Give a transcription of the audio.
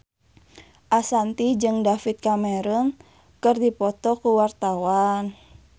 Ashanti jeung David Cameron keur dipoto ku wartawan